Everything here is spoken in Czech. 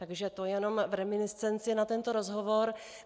Takže to jenom v reminiscenci na tento rozhovor.